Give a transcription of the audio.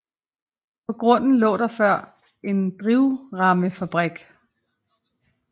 På grunden lå der før en drivremmefabrik